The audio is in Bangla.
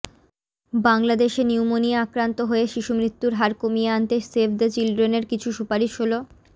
বাংলাদেশে নিউমোনিয়া আক্রান্ত হয়ে শিশু মৃত্যুর হার কমিয়ে আনতে সেভ দ্য চিলড্রেনের কিছু সুপারিশ হলঃ